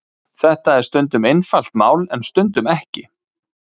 þetta er stundum einfalt mál en stundum ekki